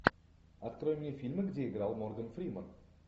открой мне фильмы где играл морган фриман